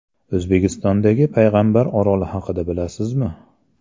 O‘zbekistondagi Payg‘ambar oroli haqida bilasizmi?.